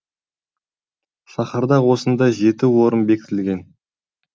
шаһарда осындай жеті орын бекітілген